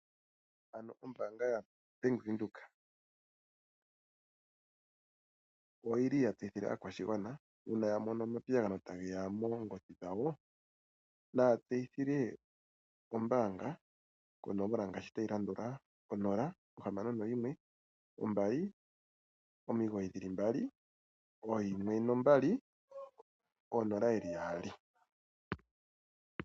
Ano Ombaanga yaBank Windhoek, oyili ya tseyithile aakwashigwana uuna ya mono omapiyagano tage ya moongodhi dhawo naatseyithile ombaanga konomola ngaashi tayi landula 0612991200.